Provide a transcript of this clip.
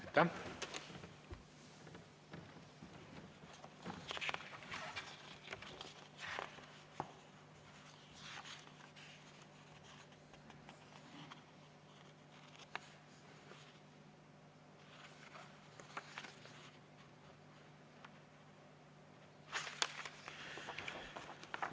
Aitäh!